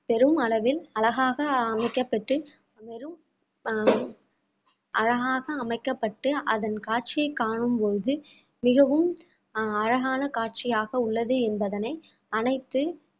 பெரும் அளவில் அழகாக அமைக்கப்பட்டு அமையும் அழகாக அமைக்கப்பட்டு அதன் காட்சியை காணும் பொழுது மிகவும் அஹ் அழகான கட்சியாக உள்ளது என்பதனை அனைத்து